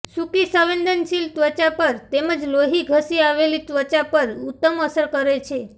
સૂકી સંવેદનશીલ ત્વચા પર તેમજ લોહી ધસી આવેલી ત્વચા પર ઉત્તમ અસર કરે છે